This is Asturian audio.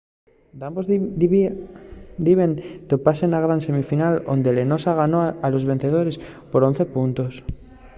dambos diben topase na gran semifinal onde'l noosa ganó a los vencedores por 11 puntos